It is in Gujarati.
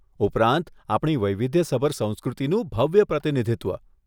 ઉપરાંત, આપણી વૈવિધ્યસભર સંસ્કૃતિનું ભવ્ય પ્રતિનિધિત્વ.